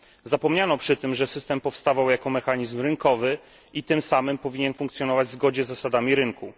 Zapomniano przy tym, że system powstawał jako mechanizm rynkowy i tym samym powinien funkcjonować w zgodzie z zasadami rynku.